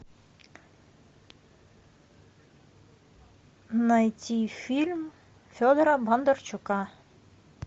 найти фильм федора бондарчука